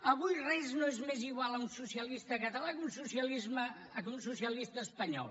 avui res no és més igual a un socialista català que un socialista espanyol